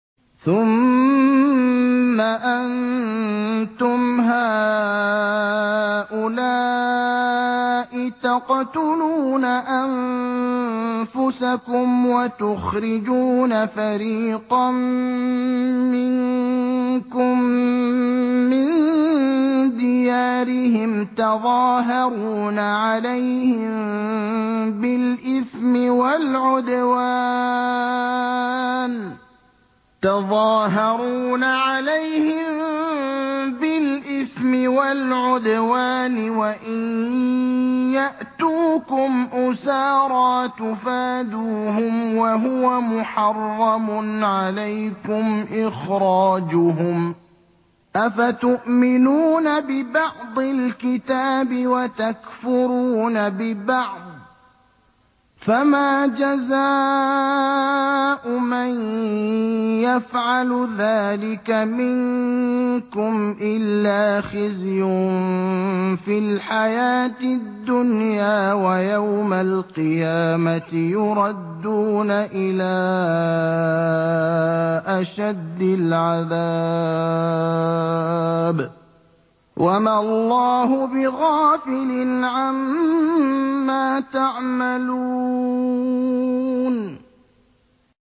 ثُمَّ أَنتُمْ هَٰؤُلَاءِ تَقْتُلُونَ أَنفُسَكُمْ وَتُخْرِجُونَ فَرِيقًا مِّنكُم مِّن دِيَارِهِمْ تَظَاهَرُونَ عَلَيْهِم بِالْإِثْمِ وَالْعُدْوَانِ وَإِن يَأْتُوكُمْ أُسَارَىٰ تُفَادُوهُمْ وَهُوَ مُحَرَّمٌ عَلَيْكُمْ إِخْرَاجُهُمْ ۚ أَفَتُؤْمِنُونَ بِبَعْضِ الْكِتَابِ وَتَكْفُرُونَ بِبَعْضٍ ۚ فَمَا جَزَاءُ مَن يَفْعَلُ ذَٰلِكَ مِنكُمْ إِلَّا خِزْيٌ فِي الْحَيَاةِ الدُّنْيَا ۖ وَيَوْمَ الْقِيَامَةِ يُرَدُّونَ إِلَىٰ أَشَدِّ الْعَذَابِ ۗ وَمَا اللَّهُ بِغَافِلٍ عَمَّا تَعْمَلُونَ